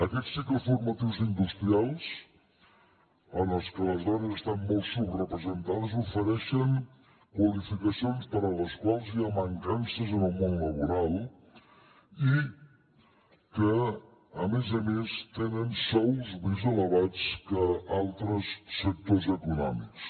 aquests cicles formatius industrials en els quals les dones estan molt subrepresentades ofereixen qualificacions per a les quals hi ha mancances en el món laboral i que a més a més tenen sous més elevats que altres sectors econòmics